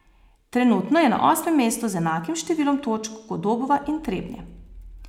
Trenutno je na osmem mestu z enakim številom točk kot Dobova in Trebnje.